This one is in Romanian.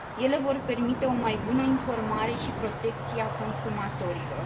Ele vor permite o mai bună informare și protecție a consumatorilor.